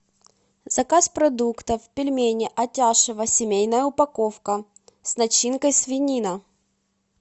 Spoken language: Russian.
заказ продуктов пельмени атяшево семейная упаковка с начинкой свинина